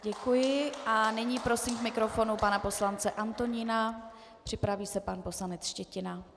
Děkuji a nyní poprosím k mikrofonu pana poslance Antonína, připraví se pan poslanec Štětina.